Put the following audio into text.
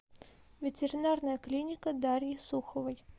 ветеринарная клиника дарьи суховой